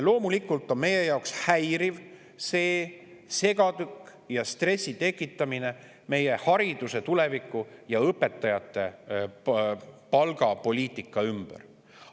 Loomulikult on meie jaoks häiriv see segadik ja stressi tekitamine meie hariduse tuleviku ja õpetajate palga ümber.